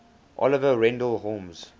oliver wendell holmes